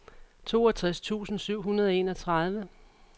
toogtres tusind syv hundrede og enogtredive